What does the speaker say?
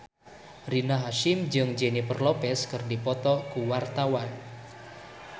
Rina Hasyim jeung Jennifer Lopez keur dipoto ku wartawan